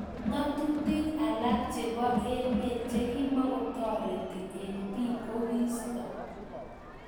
Ngatutik alak chebo emet chekimakotareti eng bik kokiisto.